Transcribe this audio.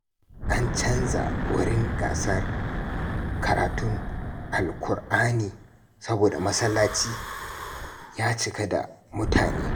An canza wurin gasar karatun Alƙur’ani saboda masallaci ya cika da mutane.